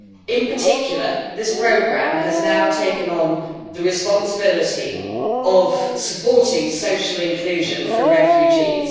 In particular, this programme has now taken on the responsibility of supporting social inclusion for refugees.